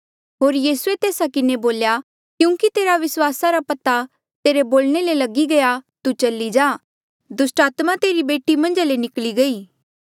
होर यीसूए तेस्सा किन्हें बोल्या क्यूंकि तेरे विस्वास रा पता तेरे बोलणे ले लगी गया तू चली जा दुस्टात्मा तेरी बेटी मन्झा ले निकली गयी